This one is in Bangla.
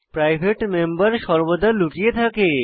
প্রাইভেট মেম্বর সর্বদা লুকিয়ে থাকে